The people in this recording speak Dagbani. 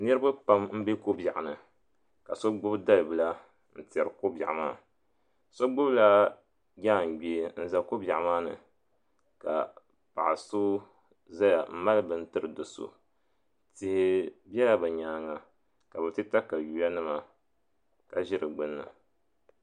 Niriba pam mbe kobiɛɣuni ka so gbibi dalbila n tɛri kobiɛɣu maa so gbibilla jangbee n za kobiɛɣu maa ni ka paɣa so zaya m mali bini n tiri do'so tihi bela bɛ nyaanga ka bɛ ti takawiya nima ka ʒi di gbinni.